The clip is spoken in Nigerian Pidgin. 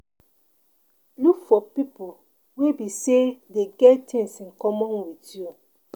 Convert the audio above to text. look for pipo wey be sey them get things in common with you